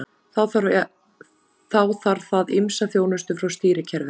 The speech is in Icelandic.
Þá þarf það ýmsa þjónustu frá stýrikerfinu.